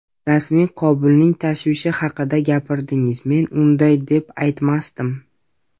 Rasmiy Kobulning tashvishi haqida gapirdingiz, men unday deb aytmasdim.